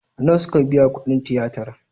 Nawa suka biya kudin tiyatar?